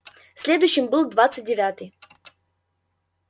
следующим был двадцать девятый